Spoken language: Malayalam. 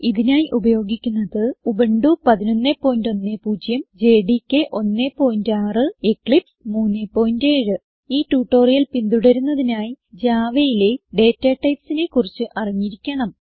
ഇതിനായി ഉപയോഗിക്കുന്നത് ഉബുന്റു 1110 ജെഡികെ 16 എക്ലിപ്സ് 37 ഈ ട്യൂട്ടോറിയൽ പിന്തുടരുന്നതിനായി javaയിലെ ഡാറ്റ typesനെ കുറിച്ച് അറിഞ്ഞിരിക്കണം